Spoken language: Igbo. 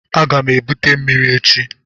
Aga m ebute mmiri echi.